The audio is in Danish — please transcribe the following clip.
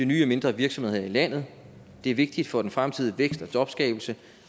nye mindre virksomheder her i landet og det er vigtigt for den fremtidige vækst og jobskabelse